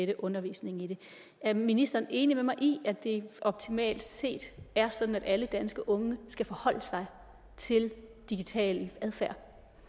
det undervisning i det er ministeren enig med mig i at det optimalt set er sådan at alle danske unge skal forholde sig til digital adfærd